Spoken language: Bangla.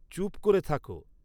চুুপ করে থাকো